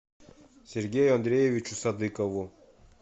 сергею андреевичу садыкову